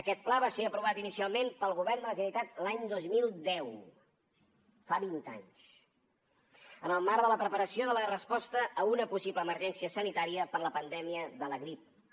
aquest pla va ser aprovat inicialment pel govern de la generalitat l’any dos mil deu fa vint anys en el marc de la preparació de la resposta a una possible emergència sanitària per la pandèmia de la grip a